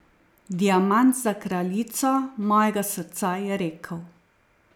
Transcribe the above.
Diamant za kraljico mojega srca, je rekel.